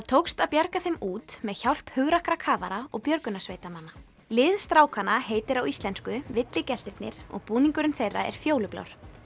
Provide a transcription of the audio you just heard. tókst að bjarga þeim út með hjálp hugrakkra kafara og björgunarsveitarmanna lið strákanna heitir á íslensku og búningurinn þeirra er fjólublár